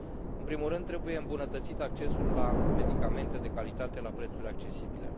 În primul rând, trebuie îmbunătățit accesul la medicamente de calitate la prețuri accesibile.